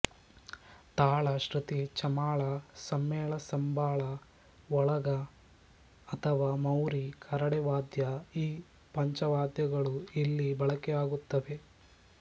ತಾಳ ಶ್ರುತಿ ಚಮಾಳ ಸಮ್ಮೇಳ ಸಂಬಾಳ ಓಲಗ ಅಥವಾ ಮೌರಿ ಕರಡೆವಾದ್ಯಈ ಪಂಚವಾದ್ಯಗಳು ಇಲ್ಲಿ ಬಳಕೆಯಾಗುತ್ತವೆ